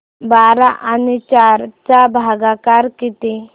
बारा आणि चार चा भागाकर किती